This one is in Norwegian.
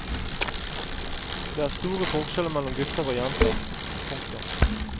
Det er store forskjeller mellom gutter og jenter. punktum